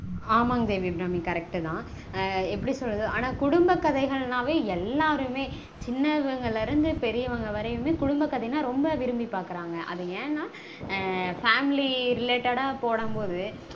ஆமாங் தேவி அபிராமி. correct -தா. அஹ் எப்படி சொல்றது. ஆனா குடும்ப கதைகள்னாவே எல்லாருமே சின்னவங்கள்ல இருந்து பெரியவங்க வரைக்குமே எல்லாருமே ரொம்ப விரும்பி பாக்கறாங்க. அது ஏன்னா family related போடும்போது